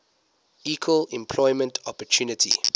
equal employment opportunity